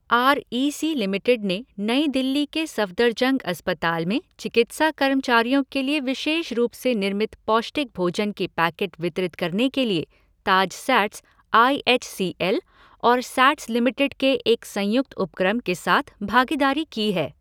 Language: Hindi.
आर ई सी लिमिटेड ने नई दिल्ली के सफ़दरजंग अस्पताल में चिकित्सा कर्मचारियों के लिए विशेष रूप से निर्मित पौष्टिक भोजन के पैकेट वितरित करने के लिए Taj SATS I H C L और सैट्स लिमिटेड के एक संयुक्त उपक्रम के साथ भागीदारी की है।